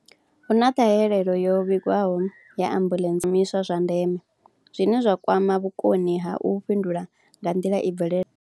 Hu na ṱhahelelo yo vhigwaho ya ambuḽentse, zwiimiswa zwa ndeme zwine zwa kwama vhukoni ha u fhindula nga nḓila i bvelelaho.